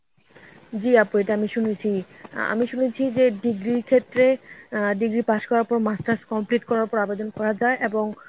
জি আপু এটা আমি শুনেছি. আমি শুনেছি যে degree র ক্ষেত্রে অ্যাঁ degree pass করার পর master's complete করার পর আবেদন করা যায় এবং